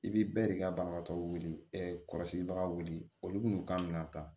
I bi bɛɛ de ka banabagatɔ wele kɔrɔsigibaga wele olu n'u ka minɛ ta